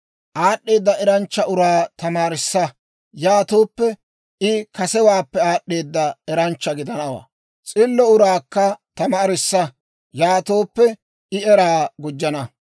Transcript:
Aad'd'eeda eranchcha uraa tamaarissa; yaatooppe, I kasewaappekka aad'd'eeda eranchcha gidanawaa. S'illo uraakka tamaarissa; yaatooppe I eraa gujjana.